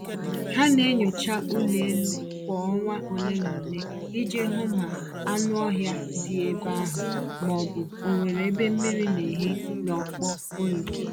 Ha na-enyocha ụlọ elu kwa ọnwa ole na ole iji hụ ma anụ ọhịa dị ebe ahụ, ma ọ bụ onwere ebe mmiri n'ehi n’ọkpọ ụlọ